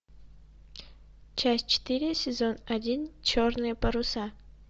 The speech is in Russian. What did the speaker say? часть четыре сезон один черные паруса